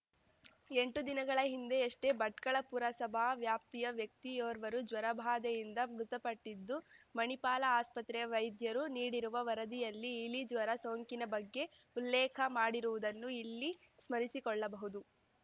ಎಂಟು ದಿನಗಳ ಹಿಂದೆಯಷ್ಟೇ ಭಟ್ಕಳ ಪುರಸಭಾ ವ್ಯಾಪ್ತಿಯ ವ್ಯಕ್ತಿಯೋರ್ವರು ಜ್ವರಬಾಧೆಯಿಂದ ಮೃತಪಟ್ಟಿದ್ದು ಮಣಿಪಾಲ ಆಸ್ಪತ್ರೆಯ ವೈದ್ಯರು ನೀಡಿರುವ ವರದಿಯಲ್ಲಿ ಇಲಿಜ್ವರ ಸೋಂಕಿನ ಬಗ್ಗೆ ಉಲ್ಲೇಖ ಮಾಡಿರುವುದನ್ನು ಇಲ್ಲಿ ಸ್ಮರಿಸಿಕೊಳ್ಳಬಹುದು